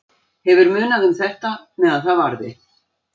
Hefur munað um þetta meðan það varði.